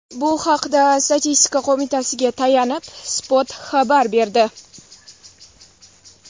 Bu haqda Statistika qo‘mitasiga tayanib, Spot xabar berdi .